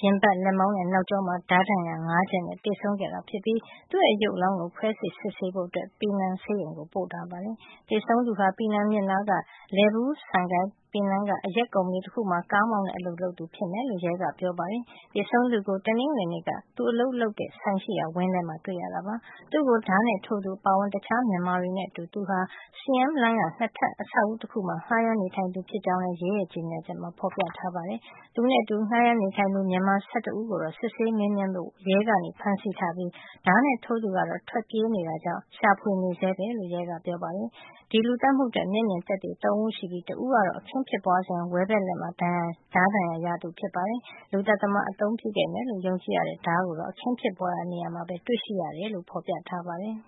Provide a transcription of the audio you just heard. ရင်ဘတ်၊ လက်မောင်းနဲ့ နောက်ကျောမှာ ဓါးဒဏ်ရာ ၅ ချက်နဲ့ သေဆုံးခဲ့တာ ဖြစ်ပြီး သူ့ရုပ်အလောင်းကို ခွဲစိပ်စစ်ဆေးဖို့ ပီနန်ဆေးရုံကို ပို့ထားပါတယ်။ သေဆုံးသူဟာ ပီနန်မြစ်နားက Lebuh Sungai Pinang က အရက်ကုမ္ပဏီ တခုမှာ ကားမောင်းတဲ့ အလုပ်လုပ်သူ ဖြစ်မယ်လို့ ရဲက ပြောပါတယ်။ သေဆုံးသူကို တနင်္ဂနွေနေ့က သူအလုပ်လုပ်တဲ့ဆိုင်ရှိရာ ဝင်းထဲမှာတွေ့ခဲ့ရတာပါ။ သူ့ကို ဓါးနဲ့ ထိုးသူအပါအဝင် တခြား မြန်မာတွေနဲ့အတူ သူဟာ Siam လမ်းက ၂ ထပ် အဆောက်အဦးတခုမှာ ငှါးရမ်းနေထိုင်သူ ဖြစ်ကြောင်းလည်း ရဲရဲ့ ကြေညာချက်မှာ ဖေါ်ပြ ပါတယ်။ သူနဲ့အတူငှါးရမ်းနေထိုင်သူ မြန်မာ ၁၁ ဦးကို စစ်ဆေးမေးမြန်းဖို့ ရဲက ဖမ်းဆီးထားပြီး ဓါးနဲ့ ထိုးသူကတော့ ထွက်ပြေးသွားတာကြောင့် ရှာဖွေနေဆဲပဲလို့ ရဲက ပြောပါတယ်။ ဒီလူသတ်မှုအတွက် မျက်မြင် သက်သေ ၃ ဦးရှိပြီး တဦးကတော့ အခင်းဖြစ်ပွါးစဉ်က ဝဲဘက်လက်မှာ ဓါးဒဏ်ရာရခဲ့သူ ဖြစ်ပါတယ်။ လူသတ်သမား အသုံးပြုခဲ့မယ်လို့ ယုံကြည်ရတဲ့ဓါးကိုတော့ အခင်းဖြစ်ပွါးရာ နေရာမှာ တွေ့ရှိခဲ့တယ်လို့ ဖေါ်ပြထားပါတယ်